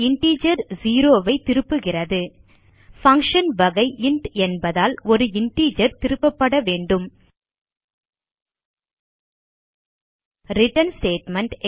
integer zero ஐ திருப்புகிறது function வகை இன்ட் என்பதால் ஒரு இன்டிஜர் திருப்பப்பட வேண்டும் ரிட்டர்ன் ஸ்டேட்மெண்ட்